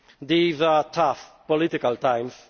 times. These are tough political